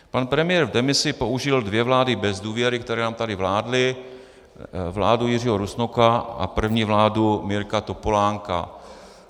Pan premiér v demisi použil dvě vlády bez důvěry, které nám tady vládly, vládu Jiřího Rusnoka a první vládu Mirka Topolánka.